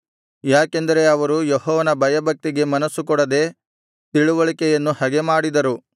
ಯಾಕೆಂದರೆ ಅವರು ಯೆಹೋವನ ಭಯಭಕ್ತಿಗೆ ಮನಸ್ಸು ಕೊಡದೆ ತಿಳಿವಳಿಕೆಯನ್ನು ಹಗೆಮಾಡಿದರು